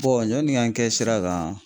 Bɔn yanni n ga n kɛ sira kan